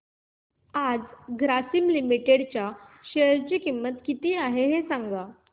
आज ग्रासीम लिमिटेड च्या शेअर ची किंमत किती आहे सांगा